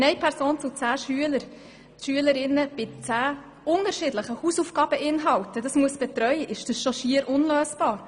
Wenn eine Betreuungsperson zehn Schülerinnen und Schüler mit unterschiedlichen Hausaufgabeninhalten betreuen muss, ist schon das beinahe unlösbar.